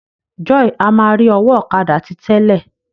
Joy a má ri ọwọ ọ̀kadà ti tẹlẹ.